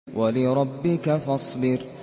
وَلِرَبِّكَ فَاصْبِرْ